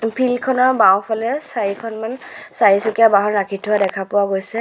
Field খনৰ বাওঁফালে চাৰিখনমান চাৰিচকীয়া বাহন ৰাখি থোৱা দেখা পোৱা গৈছে।